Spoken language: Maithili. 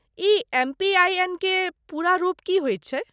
ई एम.पी.आइ.एन. के पूरा रूप की होइत छै?